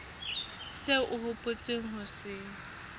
seo o hopotseng ho se